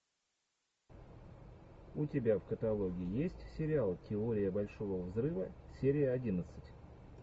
у тебя в каталоге есть сериал теория большого взрыва серия одиннадцать